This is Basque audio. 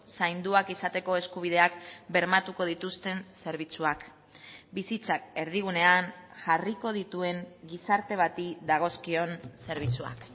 zainduak izateko eskubideak bermatuko dituzten zerbitzuak bizitzak erdigunean jarriko dituen gizarte bati dagozkion zerbitzuak